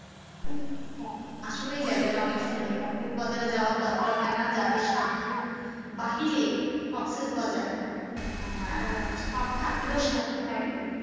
আসলেই জায়গাটা অনেক সুন্দর, কক্সেস বাজারে যাওয়ার দরকার হয় না যাদের সাধ্যের বাহিরে কক্সেস বাজার সব থাকলেও সাধ্য নাই